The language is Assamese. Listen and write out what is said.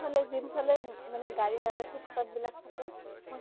এইফালে যোন ফালে মানে গাড়ী নাযাই foot path বিলাক থাকে, মই